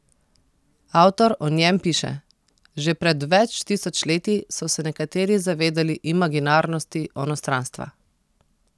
Avtor o njem piše: "Že pred več tisoč leti so se nekateri zavedali imaginarnosti onostranstva.